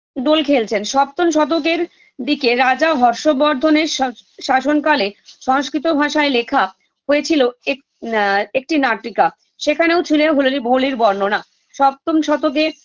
দোল খেলছেন সপ্তম শতকের দিকে রাজা হর্ষবর্ধনের সাস শাসন কালে সংস্কৃত ভাষায় লেখা হয়েছিল এক আ একটি নাটিকা সেখানেও ছিলে হোলালি হোলিরবর্ণনা সপ্তম শতকে